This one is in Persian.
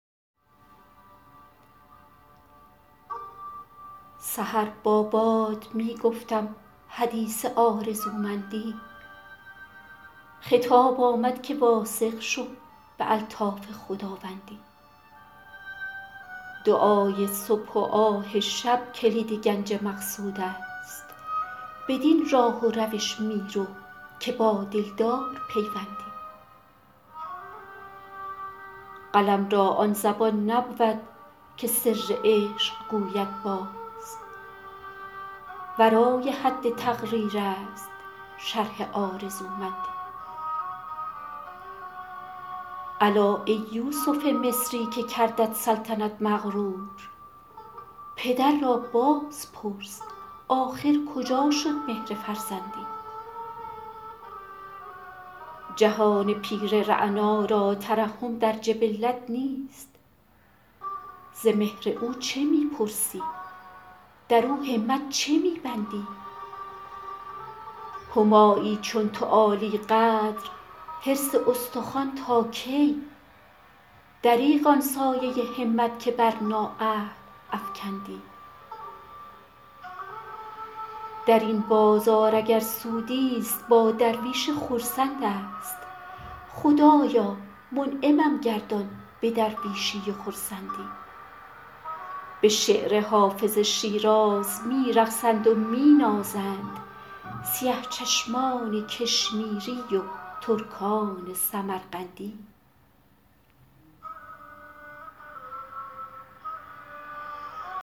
سحر با باد می گفتم حدیث آرزومندی خطاب آمد که واثق شو به الطاف خداوندی دعای صبح و آه شب کلید گنج مقصود است بدین راه و روش می رو که با دلدار پیوندی قلم را آن زبان نبود که سر عشق گوید باز ورای حد تقریر است شرح آرزومندی الا ای یوسف مصری که کردت سلطنت مغرور پدر را باز پرس آخر کجا شد مهر فرزندی جهان پیر رعنا را ترحم در جبلت نیست ز مهر او چه می پرسی در او همت چه می بندی همایی چون تو عالی قدر حرص استخوان تا کی دریغ آن سایه همت که بر نااهل افکندی در این بازار اگر سودی ست با درویش خرسند است خدایا منعمم گردان به درویشی و خرسندی به شعر حافظ شیراز می رقصند و می نازند سیه چشمان کشمیری و ترکان سمرقندی